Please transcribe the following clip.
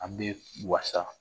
An bɛ wasa